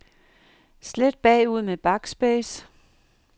Slet bagud med backspace.